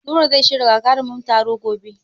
Nura zai shirya gagarumin taro gobe.